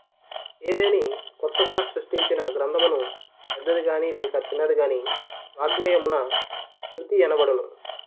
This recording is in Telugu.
ఏదేని క్రొత్తగా సృష్టించిన గ్రంథమును పెద్దది గాని లేక చిన్నది గానివాఙ్మయమున కృతి యనబడును